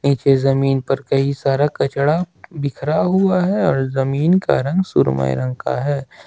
इस जमीन पर कई सारा कचड़ा बिखरा हुआ है और जमीन का रंग सुरमई रंग का है।